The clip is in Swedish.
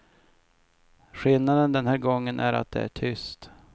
Skillnaden den här gången är att det är tyst.